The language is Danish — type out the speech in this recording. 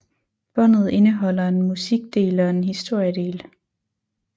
Båndet indeholder en musikdel og en historiedel